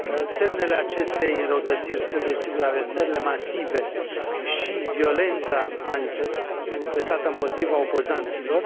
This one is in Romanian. Semnele acestei înrăutățiri sunt, desigur, arestările masive și violența manifestată împotriva opozanților.